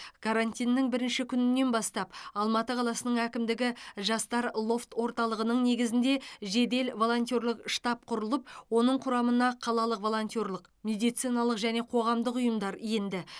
карантиннің бірінші күнінен бастап алматы қаласының әкімдігі жастар лофт орталығының негізінде жедел волонтерлік штаб құрылып оның құрамына қалалық волонтерлік медициналық және қоғамдық ұйымдар енді